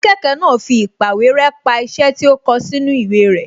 Akẹ́kọ̀ọ́ náà fi īpàwéré pa iṣẹ́ tí ó kọ sínú ìwé rẹ́